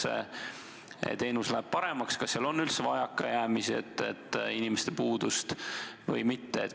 Kas see teenus läheb paremaks ja kas seal üldse on vajakajäämisi, inimeste puudust või mitte?